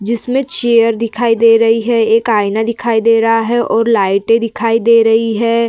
जिसमें चेयर दिखाई दे रही है एक आयना दिखाई दे रहा है और लाइटे दिखाई दे रही हैं।